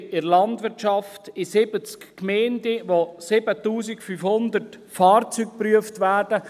Wir haben in der Landwirtschaft 70 Gemeinden, in denen 7500 Fahrzeuge geprüft werden.